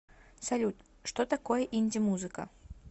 салют что такое инди музыка